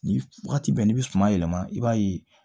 Ni wagati bɛ n'i bɛ suman yɛlɛma i b'a ye